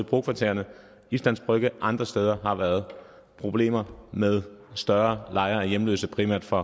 brokvartererne islands brygge og andre steder har været problemer med større lejre med hjemløse primært fra